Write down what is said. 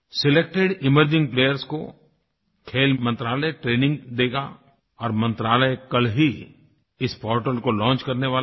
selected emerging players को खेल मंत्रालय ट्रेनिंग देगा और मंत्रालय कल ही इस पोर्टल को लॉन्च करने वाला है